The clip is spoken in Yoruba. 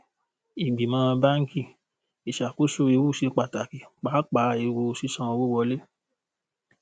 ìgbìmọ̀ báńkì: ìṣàkóso ewu ṣe pàtàkì pàápàá ewu sísanwó wọlé.